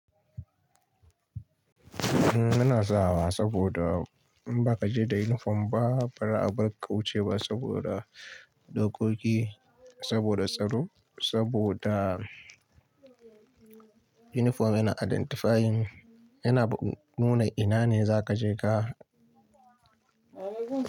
Ina sawa saboda in ba ka je da uniform ba, bari a bar ƙauye ba saboda dokoki, saboda tsaro, saboda uniform yana identifying, yana nuna ina ne za ka je ka.